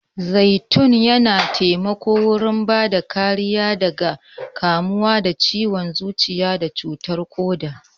Zaitun yana taimako wurin bada kariya daga kamuwa da ciwan zuciya da ciwan suga.